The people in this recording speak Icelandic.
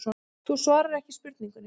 Þú svarar ekki spurningunni.